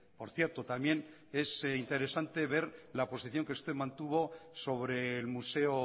por cierto también es interesante ver la posición que usted mantuvo sobre el museo